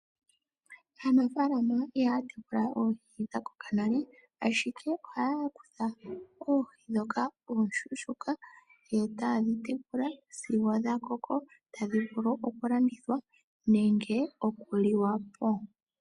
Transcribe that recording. Aanafaalama ihaa kutha oohi dha koka nale ashike ohaa kutha oohi ndhoka ooshushuka etaye dhi tekula sigo dha koko tadhi vulu okulandithwa nenge okuliwa po.